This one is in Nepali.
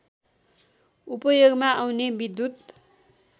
उपयोगमा आउने विद्युत